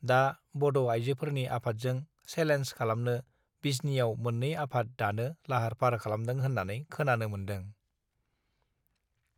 दा बड आइजोफोरनि आफातजों सेलेन्ज खालामनो बिजनीयाव मोत्रै आफाद दानो लाहार फाहार खालामदों होनानै खोनानो मोन्दों